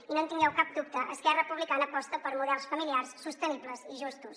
i no en tingueu cap dubte esquerra republicana aposta per models familiars sostenibles i justos